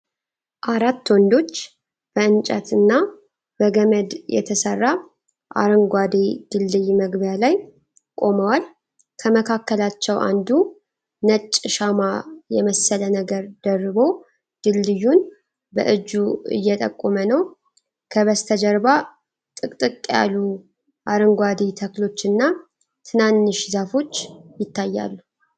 አራት ወንዶች በእንጨት እና በገመድ የተሠራ አሮጌ ድልድይ መግቢያ ላይ ቆመዋል። ከመካከላቸው አንዱ ነጭ ሻማ የመሰለ ነገር ደርቦ፣ ድልድዩን በእጁ እየጠቆመ ነው። ከበስተጀርባ ጥቅጥቅ ያሉ አረንጓዴ ተክሎችና ትናንሽ ዛፎች ይታያሉ።